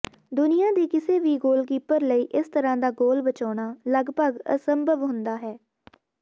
ਦੁਨੀਆ ਦੇ ਕਿਸੇ ਵੀ ਗੋਲਕੀਪਰ ਲਈ ਇਸ ਤਰ੍ਹਾਂ ਦਾ ਗੋਲ ਬਚਾਉਣਾ ਲਗਭਗ ਅਸੰਭਵ ਹੁੰਦਾ ਹੈ